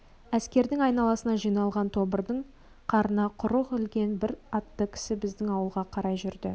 әскердің айналасына жиналған тобырдан қарына құрық ілген бір атты кісі біздің ауылға қарай жүрді